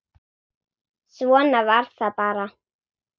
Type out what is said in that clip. Svona var það bara.